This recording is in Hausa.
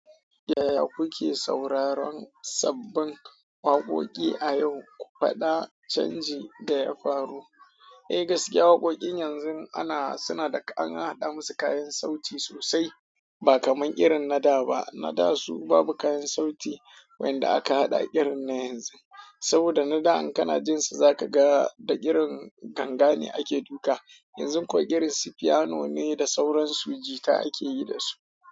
Yaya kuke sauraron sabbin waƙoƙi a yau, ku faɗa canji da ya faru? Eh gaskiya waƙoƙin yanzu ana suna da an haɗa musu kayan sauti sosai ba kamar irin na da ba. Na da su babu kayan sauti, wa'inda a ka hada irin na yanzu. Saboda na da in kana jin su za ka ga da irin tanga ne ake duka. Yanzu kuwa girin su piano ne da sauran su jika ake yi da su.